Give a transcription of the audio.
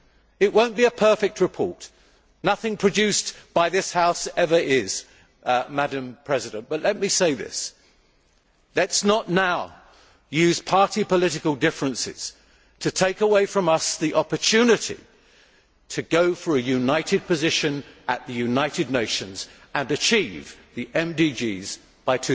It will not be a perfect report nothing produced by this House ever is, but let me say this let us not now use party political differences to take away from ourselves the opportunity to go for a united position at the United Nations and achieve the MDGs